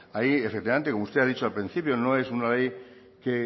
ahí efectivamente usted ha dicho al principio no es una ley a la